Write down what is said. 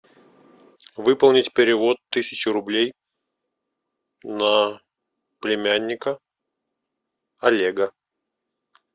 выполнить перевод тысячи рублей на племянника олега